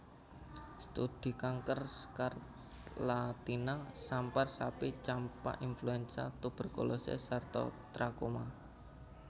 Studi kanker skarlatina sampar sapi campak influenza tuberkulosis sarta trakoma